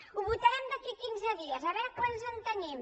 ho votarem d’aquí a quinze dies a veure quants en tenim